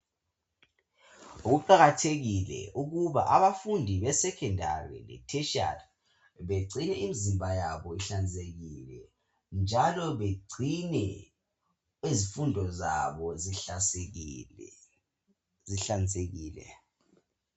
Kuqakathekile ukuba abafunda esekhondari le theshiyari begcine imizimba yabo ihlanzekile njalo bagcine izifundo zabo zihlanzekile.